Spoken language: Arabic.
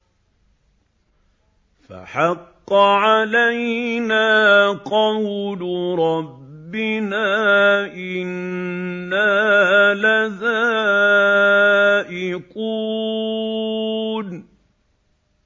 فَحَقَّ عَلَيْنَا قَوْلُ رَبِّنَا ۖ إِنَّا لَذَائِقُونَ